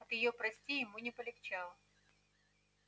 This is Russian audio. от её прости ему не полегчало